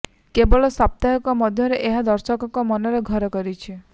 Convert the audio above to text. କେବଳ ସପ୍ତାହକ ମଧ୍ୟରେ ଏହା ଦର୍ଶକଙ୍କ ମନର ଘର କରିଛି